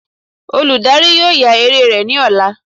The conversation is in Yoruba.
Oludari yóò ya eré rẹ ni ọla.